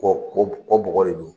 Kɔ kɔ kɔ bɔgɔ de do.